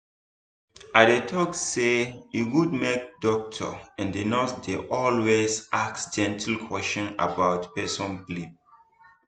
i dey talk say e good make doctor and nurse dey always ask gentle question about person belief.